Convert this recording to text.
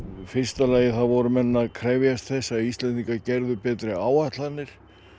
fyrsta lagi voru menn að krefjast þess að Íslendingar gerðu betri áætlanir